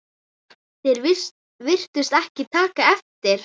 Þeir virtust ekki taka eftir